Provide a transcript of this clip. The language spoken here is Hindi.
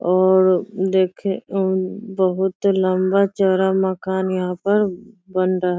और देखे अ बहुत लम्बा चौड़ा मकान यहाँ पर बन रह --